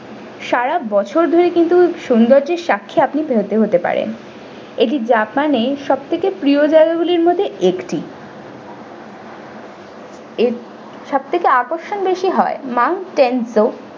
সারাবছর ধরে কিন্তু সৌন্দর্যের সাক্ষী আপনি হতে পারেন এটি japan এর সব থেকে প্রিয় জায়গা গুলির মধ্যে একটি সব থেকে আকর্ষণ বেশি হয় mount tenjo ।